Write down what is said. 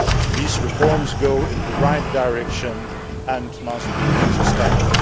These reforms go in the right direction and must be sustained.